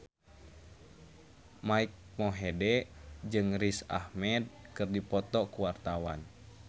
Mike Mohede jeung Riz Ahmed keur dipoto ku wartawan